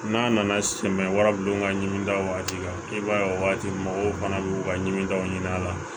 N'a nana sɛmɛ wara bi don ka ɲinini da o waati la i b'a ye o waati mɔgɔw fana bi u ka ɲimi daw ɲini a la